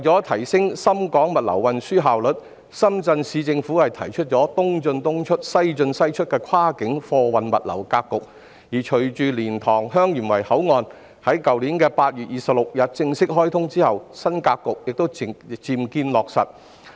為提升深港物流運輸效率，深圳市政府提出"東進東出、西進西出"的跨境貨運物流格局，而隨着蓮塘/香園圍口岸於去年8月26日正式開通，新格局漸見落實。